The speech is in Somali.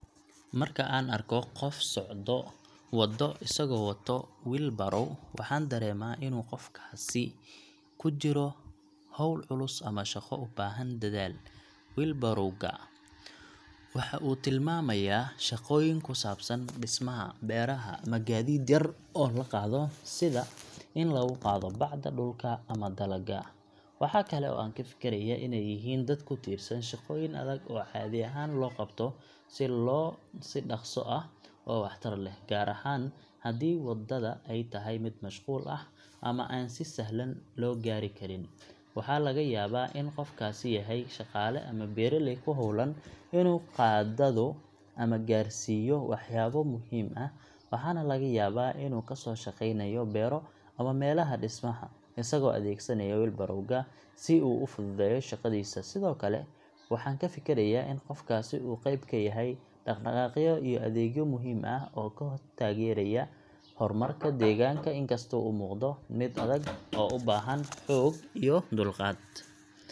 Marka aan arko qof ku socda waddo isagoo wato wheelbarrow, waxaan dareemaa in qofkaas uu ku jiro hawl culus ama shaqo u baahan dadaal. Wheelbarrow ga waxa uu tilmaamayaa shaqooyin ku saabsan dhismaha, beeraha, ama gaadiid yar oo la qaado, sida in lagu qaado bacda dhulka ama dalagga. Waxa kale oo aan ka fikirayaa inay yihiin dad ku tiirsan shaqooyin adag oo caadi ahaan loo qabto si dhaqso ah oo waxtar leh, gaar ahaan haddii waddada ay tahay mid mashquul ah ama aan si sahlan loo gaari karin. Waxaa laga yaabaa in qofkaasi yahay shaqaale ama beeraley ku howlan inuu qadaado ama gaarsiiyo waxyaabo muhiim ah, waxaana laga yaabaa inuu ka soo shaqeynayo beero ama meelaha dhismaha, isagoo adeegsanaya wheelbarrow-ga si uu u fududeeyo shaqadiisa. Sidoo kale, waxaan ka fikirayaa in qofkaasi uu qayb ka yahay dhaqdhaqaaqyo iyo adeegyo muhiim ah oo ka taageeraya horumarka deegaanka, inkastoo uu muuqdo mid adag oo u baahan xoog iyo dulqaad.